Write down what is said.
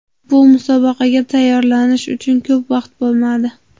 Bu musobaqaga tayyorlanish uchun ko‘p vaqt bo‘lmadi.